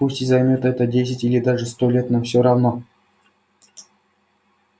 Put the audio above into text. пусть и займёт это десять или даже сто лет но всё равно